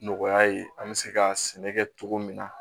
Nɔgɔya ye an bɛ se ka sɛnɛ kɛ cogo min na